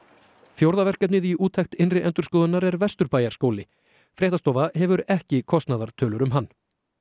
fjórða verkefnið í úttekt innri endurskoðunar er Vesturbæjarskóli fréttastofa hefur ekki kostnaðartölur um hann